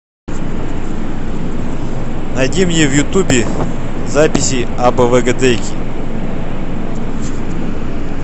найди мне в ютубе записи абвгдейки